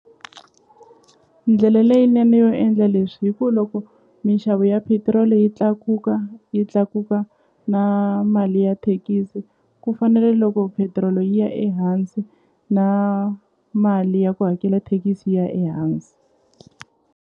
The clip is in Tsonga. Ndlele leyinene yo endla leswi hi ku loko mixavo ya petiroli yi tlakuka yi tlakuka na mali ya thekisi ku fanele loko petiroli yi ya ehansi na mali ya ku hakela thekisi yi ya ehansi.